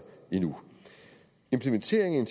endnu implementeringen